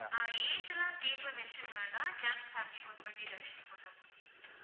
ஆஹ் age எல்லாம் cake ல mention பண்ண வேண்டாம். just happy ba~ birthday Dharshini போட்டா போதும்